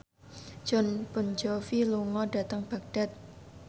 Jon Bon Jovi lunga dhateng Baghdad